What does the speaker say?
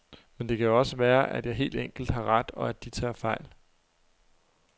Men det kan jo også være, at jeg helt enkelt har ret, og at de tager fejl.